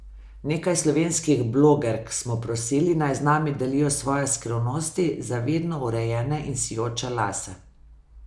Nekaj slovenskih blogerk smo prosili, naj z nami delijo svoje skrivnosti za vedno urejene in sijoče lase.